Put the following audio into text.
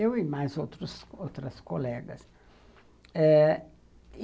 Eu e mais outros outras colegas. E